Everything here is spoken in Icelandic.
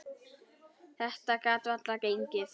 Þetta gat varla gengið.